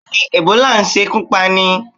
Bẹ́ẹ̀ni, Ẹ̀bólà ń ṣekú pani.